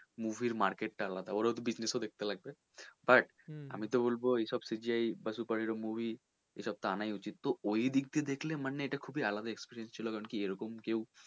movie র market টা আলাদা কারন ওর ও তো business ও দেখতে লাগবে but আমি তো বলবো এইসব CGI বা super এরকম movie এইসব তো আনাই উচিৎ তো ওই দিক দিয়ে দেখলে মানে এটা খুবই আলাদা experience ছিল কি কারন কেউ,